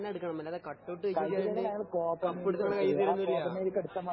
ങ്ഹാ കളിച്ചിട്ട് തന്നെ എടുക്കണം അല്ലാതെ കട്ട് ഔട്ട് വച്ച് ന്നു വച്ച് കപ്പെടുത്ത് കൈയ്യില് തരോന്നുമില്ല